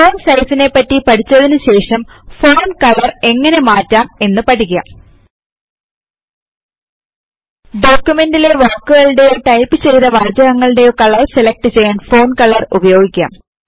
font സൈസിനെപറ്റി പഠിച്ചതിനു ശേഷം ഫോണ്ട് കളർ എങ്ങനെ മാറ്റം എന്ന് പഠിക്കാം ഡോക്യുമെന്റ് ലെ വാക്കുകളുടെയോ അല്ലെങ്കിൽ ടൈപ്പ് ചെയ്ത വാചകങ്ങളുടെയോ കളർ സെലക്ട് ചെയ്യാൻ ഫോണ്ട് കളർ ഉപയോഗിക്കാം